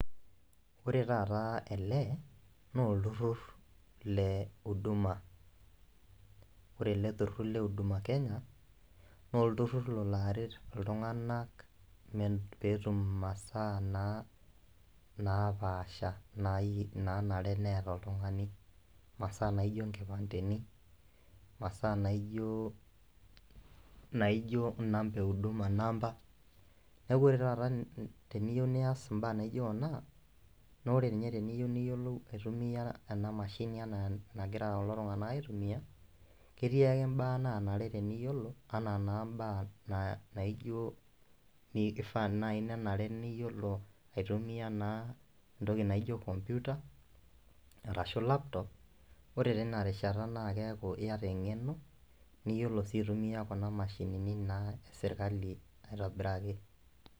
Ore taata ele naa olturrur le uduma ore ele turrur le uduma kenya nolturrur lolo aret iltunganak me petum imasaa naa napaasha nayie nanare neeta oltung'ani imasaa naijio inkipandeni imasaa naijio, inaijio inamba e huduma namba neku ore taata teniyieu niyas imbaa naijio kuna nore ninye teniyieu niyiolou aitumiyia ena mashini enaa enagira kulo tung'anak aitumiyia ketii ake imbaa nanare teniyiolo anaa naa imbaa na naijio nie ifaa naaji nenare niyiolo aitumiyia naa entoki naijio computer arashu laptop ore tina rishata naa keeku iyata eng'eno niyiolo sii aitumia kuna mashinini naa esirkali aitobiraki.